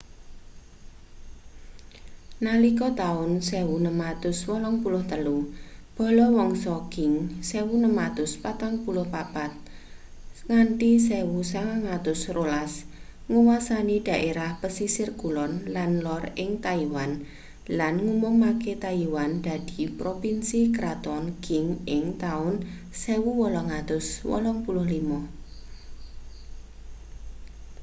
nalika taun 1683 bala wangsa qing 1644-1912 nguwasani dhaerah pesisir kulon lan lor ing taiwan lan ngumumake taiwan dadi propinsi kraton qing ing taun 1885